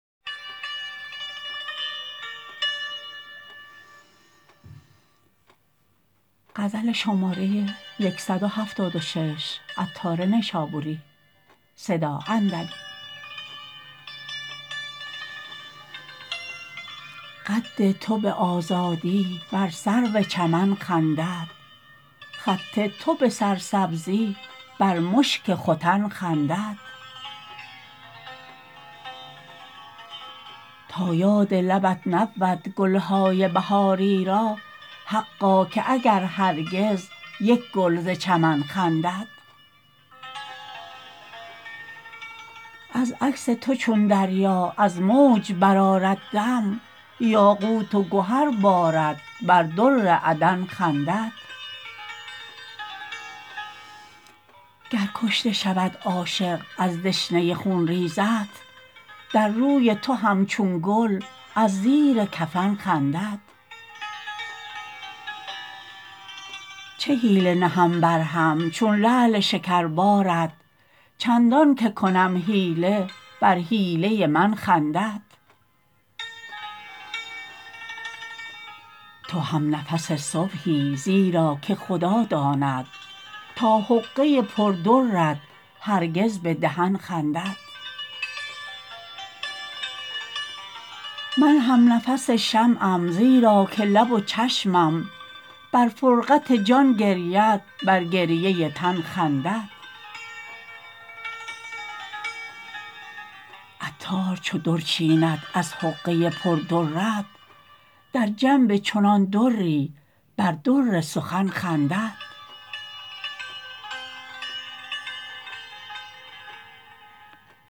قد تو به آزادی بر سرو چمن خندد خط تو به سرسبزی بر مشک ختن خندد تا یاد لبت نبود گلهای بهاری را حقا که اگر هرگز یک گل ز چمن خندد از عکس تو چون دریا از موج برآرد دم یاقوت و گهر بارد بر در عدن خندد گر کشته شود عاشق از دشنه خونریزت در روی تو همچون گل از زیر کفن خندد چه حیله نهم برهم چون لعل شکربارت چندان که کنم حیله بر حیله من خندد تو هم نفس صبحی زیرا که خدا داند تا حقه پر درت هرگز به دهن خندد من هم نفس شمعم زیرا که لب و چشمم بر فرقت جان گرید بر گریه تن خندد عطار چو در چیند از حقه پر درت در جنب چنان دری بر در سخن خندد